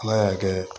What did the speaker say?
Ala y'a kɛ